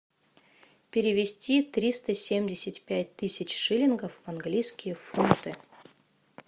перевести триста семьдесят пять тысяч шиллингов в английские фунты